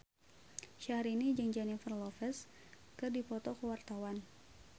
Syahrini jeung Jennifer Lopez keur dipoto ku wartawan